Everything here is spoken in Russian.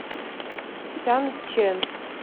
сянчэн